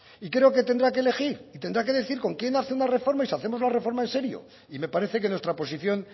y creo que tendrá que elegir y tendrá que decir con quién hace la reforma y si hacemos la reforma en serio y me parece que nuestra oposición